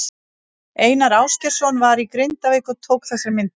Einar Ásgeirsson var í Grindavík og tók þessar myndir.